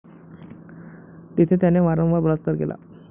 तेथे त्याने वारंवार बलात्कार केला.